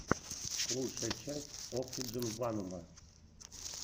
лучшая часть оксидженванума